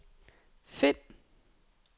find